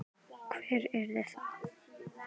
Hver yrði það?